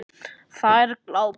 Þær glápa.